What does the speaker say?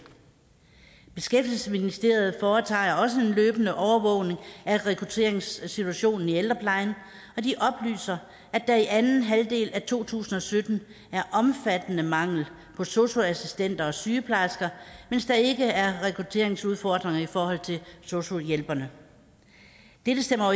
beskæftigelsesministeriet foretager også en løbende overvågning af rekrutteringssituationen i ældreplejen og de oplyser at der i anden halvdel af to tusind og sytten er omfattende mangel på sosu assistenter og sygeplejersker mens der ikke er rekrutteringsudfordringer i forhold til sosu hjælperne dette stemmer